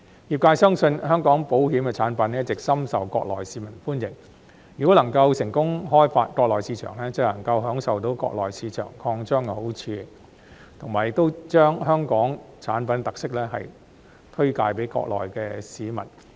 業界相信，香港保險產品一直深受國內市民歡迎，如果能夠成功開發國內市場，便能享受到國內市場擴張的好處，並能將香港產品的特色推介給國內市民。